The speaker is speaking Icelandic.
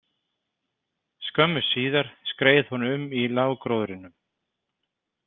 Skömmu síðar skreið hún um í lággróðrinum.